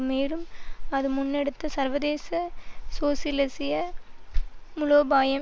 மேலும் அது முன்னெடுத்த சர்வதேச சோசியலிசிய மூலோபாயம்